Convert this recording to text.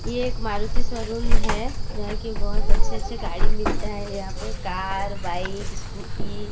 ये एक मारुति शोरूम हैं जहाँ की बहोत अच्छे अच्छे गाड़ी मिलता हैं यहाँ पे कार बाइक स्कूटी --